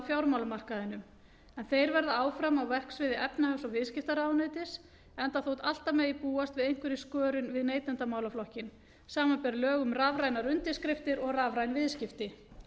fjármálamarkaðinum en þeir verða áfram á verksviði efnahags og viðskiptaráðuneytis enda þótt alltaf megi búast við einhverri skörun við neytendamálaflokkinn samanber lög um rafrænar undirskriftir og rafræn viðskipti